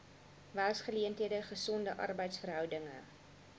werksgeleenthede gesonde arbeidsverhoudinge